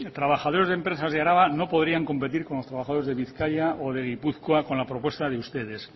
trabajadores de empresas de araba no podrían competir con los trabajadores de bizkaia o de gipuzkoa con la propuesta de ustedes